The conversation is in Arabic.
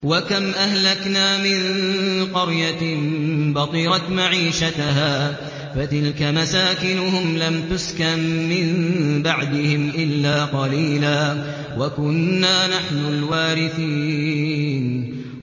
وَكَمْ أَهْلَكْنَا مِن قَرْيَةٍ بَطِرَتْ مَعِيشَتَهَا ۖ فَتِلْكَ مَسَاكِنُهُمْ لَمْ تُسْكَن مِّن بَعْدِهِمْ إِلَّا قَلِيلًا ۖ وَكُنَّا نَحْنُ الْوَارِثِينَ